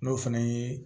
N'o fana ye